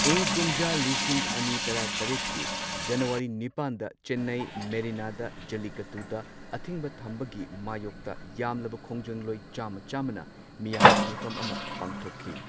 ꯏꯪ ꯀꯨꯝꯖꯥ ꯂꯤꯁꯤꯡ ꯑꯅꯤ ꯇꯔꯥ ꯇꯔꯦꯠꯀꯤ ꯖꯅꯨꯋꯥꯔꯤ ꯅꯤꯄꯥꯟꯗ ꯆꯦꯟꯅꯥꯏ ꯃꯦꯔꯤꯅꯥꯗ ꯖꯂꯤꯀꯠꯇꯨꯗ ꯑꯊꯤꯡꯕ ꯊꯝꯕꯒꯤ ꯃꯥꯌꯣꯛꯇ ꯌꯥꯝꯂꯕ ꯈꯣꯡꯖꯪꯂꯣꯏ ꯆꯥꯃ ꯆꯥꯃꯅ ꯃꯤꯌꯥꯝꯒꯤ ꯃꯤꯐꯝ ꯑꯃ ꯄꯥꯡꯊꯣꯛꯈꯤ꯫